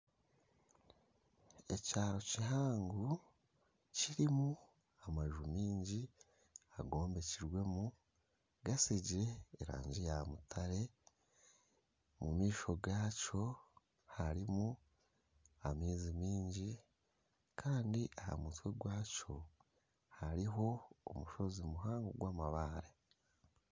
Ekyaro kihango kirimu amaju mingi agombekiremu gasigiire erangi ya mutare, omu maisho gakyo harimu amaizi mingi kandi aha musikye gwakyo hariho omushozi muhango gw'amabare.